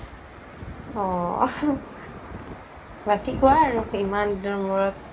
অ বাকি কুৱা আৰু ইমান দিনৰ মোৰত